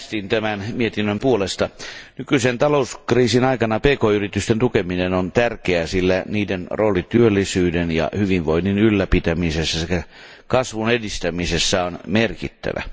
Arvoisa puhemies, äänestin tämän mietinnön puolesta. Nykyisen talouskriisin aikana pk yritysten tukeminen on tärkeää, sillä niiden rooli työllisyyden ja hyvinvoinnin ylläpitämisessä sekä kasvun edistämisessä on merkittävä.